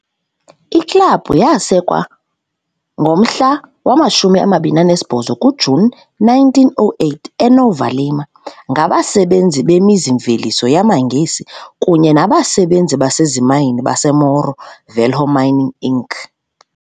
Iklabhu yasekwa ngomhla wama-28 kuJuni 1908, eNova Lima, ngabasebenzi bemizi-mveliso yamaNgesi kunye nabasebenzi basezimayini baseMorro Velho Mining Inc.